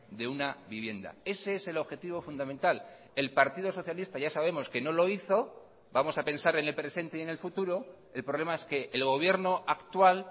de una vivienda ese es el objetivo fundamental el partido socialista ya sabemos que no lo hizo vamos a pensar en el presente y en el futuro el problema es que el gobierno actual